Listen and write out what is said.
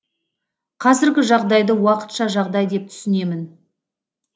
қазіргі жағдайды уақытша жағдай деп түсінемін